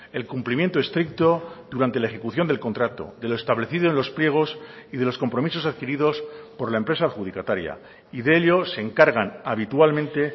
el cumplimiento estricto durante la ejecución del contrato de lo establecido en los pliegos y de los compromisos adquiridos por la empresa adjudicataria y de ello se encargan habitualmente